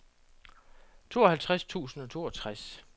tooghalvtreds tusind og toogtres